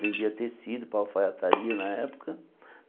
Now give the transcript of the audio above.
Vendia tecido para a alfaiataria na época.